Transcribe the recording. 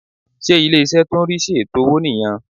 Ṣé ilé-ìṣẹ́ tó n rí sí ètò owó nì yan